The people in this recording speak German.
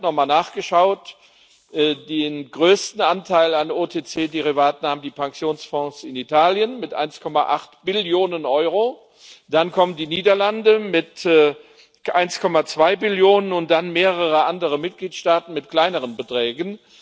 Ich habe nochmal nachgeschaut Den größten Anteil an OTC Derivaten haben die Pensionsfonds in Italien mit 1,8 Billionen Euro, dann kommen die Niederlande mit 1,2 Billionen und dann mehrere andere Mitgliedstaaten mit kleineren Beträgen.